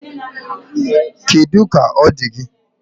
Kedụ ka ọ dị gị?